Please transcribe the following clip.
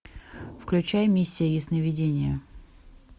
включай миссия ясновидения